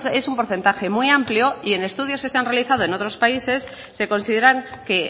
es un porcentaje muy amplio y en estudios que se han realizado en otros países se consideran que